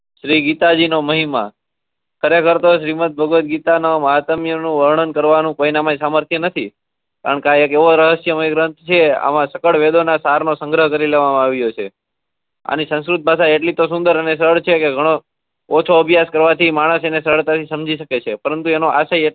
શ્રી ગીતાજી નો મહિમા ખરેખર તો શ્રી મંતભગવતગીતા નો વર્ણન કરવાનો કોઈના મો સામર્થ્ય નથી કારણકે આ એક એવો રહસ્યમય ગ્રંથ છે આમાં ચકડ વેદો સગર્હ કરી લેવા માં આવ્યો છે આની સંસ્કુત ભાષા એટલી તો સુન્દર અને સરળ છે ગણો કે ઓંછો અભ્યાસ કરવાથી માણસ સરળતાથી સમજી શકે છે પરંતુ એનો આસાય એટલો